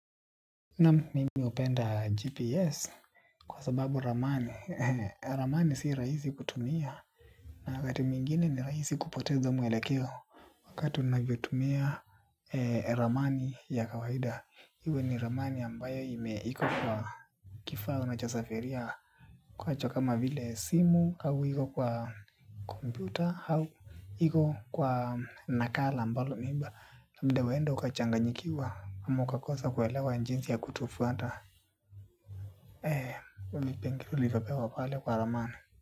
Naam mimi hupenda GPS kwa sababu ramani. Ramani si rahisi kutumia na wakati mwingine ni rahisi kupoteza mwelekeo wakati unavyotumia ramani ya kawaida. Iwe ni ramani ambayo ime iko kwa kifaa unachosafiria kwa cho kama vile simu au iko kwa kompyuta au iko kwa nakala ambalo imba labda wenda ukachanganyikiwa ama ukakosa kuelewa jinsi ya kutufuata vipengele ulivyopewa pale kwa ramani.